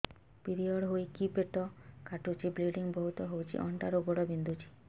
period ହୋଇକି ପେଟ କାଟୁଛି ବ୍ଲିଡ଼ିଙ୍ଗ ବହୁତ ହଉଚି ଅଣ୍ଟା ରୁ ଗୋଡ ବିନ୍ଧୁଛି